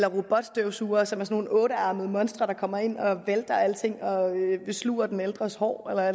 om robotstøvsugere er det sådan nogle ottearmede monstre der kommer ind og vælter alting og sluger den ældres hår eller